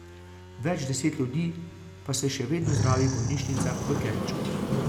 Več deset ljudi pa se še vedno zdravi v bolnišnicah v Kerču.